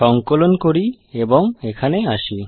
সঙ্কলন করি এবং এখানে আসি